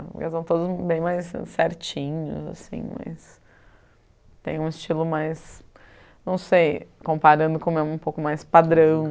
Eles são todos bem mais certinhos, assim, mas tem um estilo mais, não sei, comparando com o meu, um pouco mais padrão.